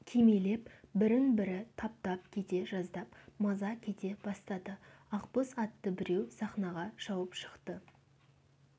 кимелеп бірін-бірі таптап кете жаздап маза кете бастады ақбоз атты біреу сахнаға шауып шықты